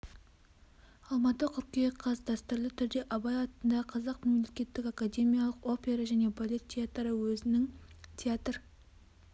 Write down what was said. алматы қыркүйек қаз дәстүрлі түрде абай атындағы қазақ мемлекеттік академиялық опера және балет театры өзінің театр